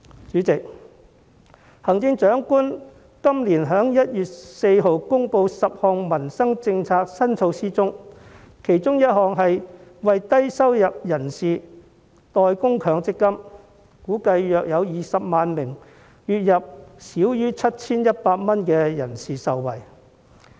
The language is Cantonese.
主席，行政長官於今年1月14日公布的10項民生政策新措施中，其中一項是為低收入人士代供強積金，估計約有20萬名月入少於 7,100 元的人士會受惠。